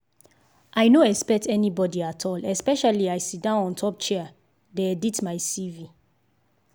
i no expect anybody at all especially as i sit down on top chair dey edit my cv